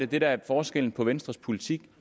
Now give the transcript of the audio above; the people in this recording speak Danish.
det der er forskellen på venstres politik